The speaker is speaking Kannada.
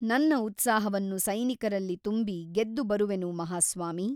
ನನ್ನ ಉತ್ಸಾಹವನ್ನು ಸೈನಿಕರಲ್ಲಿ ತುಂಬಿ ಗೆದ್ದು ಬರುವೆನು ಮಹಾಸ್ವಾಮಿ!